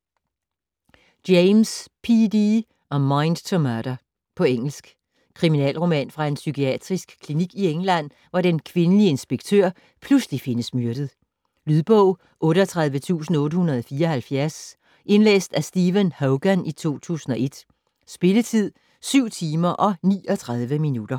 James, P. D.: A mind to murder På engelsk. Kriminalroman fra en psykiatrisk klinik i England, hvor den kvindelige inspektør pludselig findes myrdet. Lydbog 38874 Indlæst af Stephen Hogan, 2001. Spilletid: 7 timer, 39 minutter.